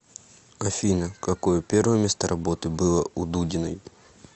афина какое первое место работы было у дудиной